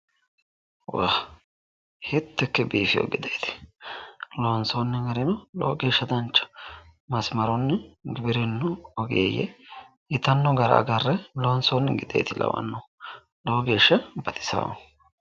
Woy hiitto ikke biifeewo gideeti loonsoonni gari lowo geeshsha baxisanno masimarunni giwirinnu Ogeeyye yitanno gara agarre loonsoonni gide Lawanno lowo geeshsha baxisaawo.